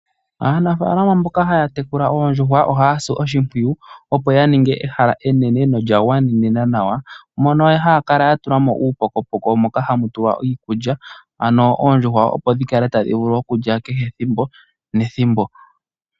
Aanafaalama mboka ha ya tekula oondjuhwa, oha ya si oshimpwiyu opo ya ninge ehala enene, lyo olya andjuka nolya gwanenena nawa Mona ha ya kala ya tulamo uupokopoko moka ha mu kala iikulya, ano oondjuhwa opo dhi vule oku kala ta dhi li iikulya kehe ethimbo nethimbo.